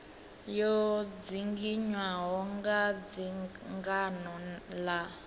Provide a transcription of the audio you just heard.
yo dzinginywaho nga dzangano la